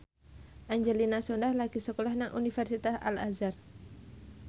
Angelina Sondakh lagi sekolah nang Universitas Al Azhar